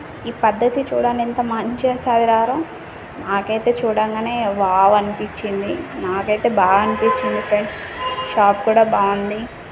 ఈ పద్ధతి చూడండి ఎంత మంచిగా చదిరారో నాకైతే చూడంగానే వావ్ అనిపించింది నాకైతే బాగా అనిపించింది ఫ్రెండ్స్ షాప్ కూడా బాగుంది.